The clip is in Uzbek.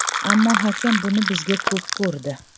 Ammo hakam buni bizga ko‘p ko‘rdi.